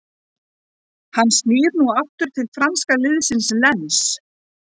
Hann snýr nú aftur til franska liðsins Lens.